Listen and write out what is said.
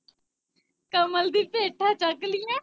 ਕਮਲ ਦੀ ਪੇਠਾ ਚੱਕ ਲੀਆ।